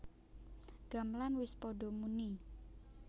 Gamelan wis padha muni